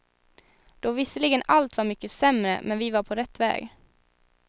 Då visserligen allt var mycket sämre, men vi var på rätt väg.